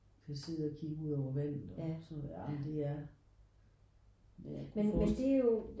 Du kan sidde og kigge ud over vandet og sådan noget ej men det er men jeg kunne forstille mig